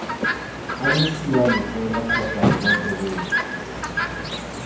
anyisiwa letsele kgotsa lebotlolo lo